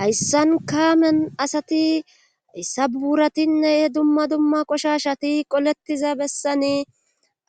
hayssan kaamen asati issa buuratinne dumma duma qoshashati qolettiza bessani